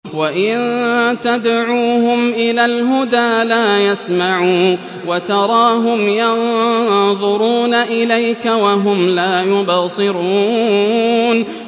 وَإِن تَدْعُوهُمْ إِلَى الْهُدَىٰ لَا يَسْمَعُوا ۖ وَتَرَاهُمْ يَنظُرُونَ إِلَيْكَ وَهُمْ لَا يُبْصِرُونَ